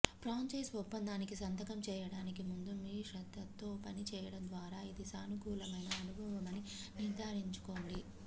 franchise ఒప్పందానికి సంతకం చేయడానికి ముందు మీ శ్రద్ధతో పని చేయడం ద్వారా ఇది సానుకూలమైన అనుభవమని నిర్ధారించుకోండి